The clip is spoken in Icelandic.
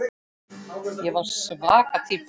Ég var svaka týpa.